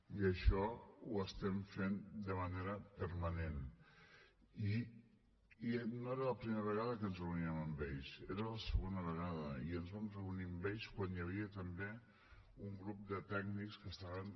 i això ho estem fent de manera permanent i no era la primera vegada que ens reuníem amb ells era la segona vegada i ens vam reunir amb ells quan hi havia també un grup de tècnics que estaven